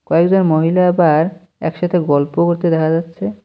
কয়েকজন মহিলা আবার একসাথে গল্প করতে দেখা যাচ্ছে।